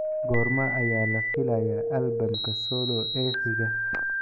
Goorma ayaa la filayaa albamka solo ee xiga?